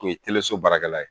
O ye so baarakɛla ye